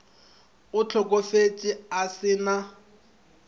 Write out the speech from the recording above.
o hlokofetše a se na